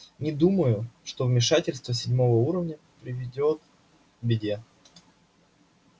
не думаю что вмешательство седьмого уровня приведёт к беде